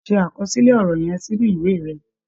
Ṣe àkọsílẹ̀ ọ̀rọ̀ yẹn sínú ìwé rẹ̀.